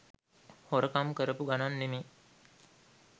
හොරකම් කරපු ගණන් නෙමේ.